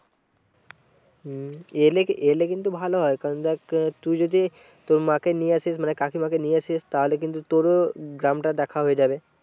হম এলে এলে কিন্তু ভালো হয় কারণ দেখ তুই যদি তোর মা কে নিয়ে আসিস মানে কাকিমা কে নিয়ে আসিস তাহলে কিন্তু তোরও গ্রামটা দেখা হয়ে যাবে।